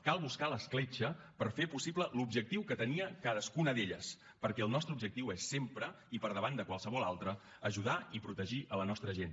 cal buscar l’escletxa per fer possible l’objectiu que tenia cadascuna d’elles perquè el nostre objectiu és sempre i per davant de qualsevol altre ajudar i protegir la nostra gent